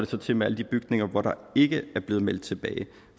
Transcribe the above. står til med alle de bygninger hvor der ikke er blevet meldt tilbage